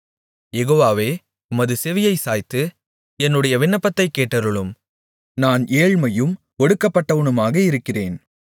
யெகோவாவே உமது செவியைச் சாய்த்து என்னுடைய விண்ணப்பத்தைக் கேட்டருளும் நான் ஏழ்மையும் ஒடுக்கப்பட்டவனுமாக இருக்கிறேன்